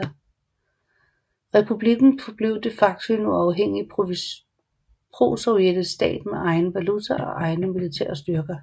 Republikken forblev de facto en uafhængig prosovjetisk stat med egen valuta og egne militære styrker